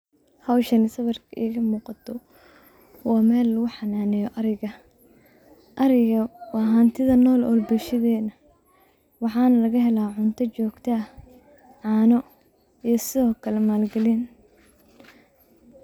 Howshan uu sawirka igamuqdo wa meel luguxananeyo ariga. Ariga wa hantida nool ee bulshadena waxan lagahela cunta, cano iyo sidokale maal galin.